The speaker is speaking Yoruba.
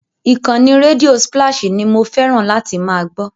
Ìkànnì rédíò spláṣì ni mo fẹ́ràn láti máa gbọ́.